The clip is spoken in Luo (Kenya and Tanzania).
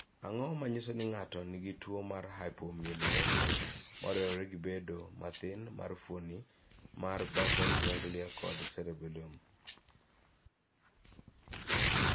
Ang�o ma nyiso ni ng�ato nigi tuo mar Hypomyelination moriwore gi bedo mathin mar fuoni mar basal ganglia kod cerebellum?